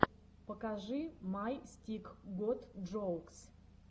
покажи май стик гот джоукс